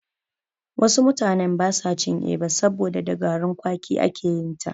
Wasu mutanen basa cin Eba, saboda da garin kwaki ake yinta.